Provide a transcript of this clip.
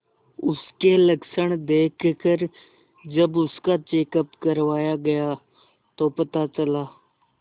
उसके लक्षण देखकरजब उसका चेकअप करवाया गया तो पता चला